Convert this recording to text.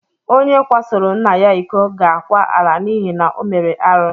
Onye kwasoro nna ya ịkọ ga akwa ala n'ihi na o mere arụ.